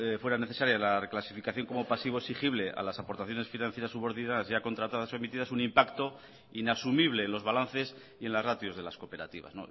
fuera necesaria la reclasificación como pasivo exigible a las aportaciones financieras subordinadas ya contratadas o emitidas un impacto inasumible en los balances y en las ratios de las cooperativas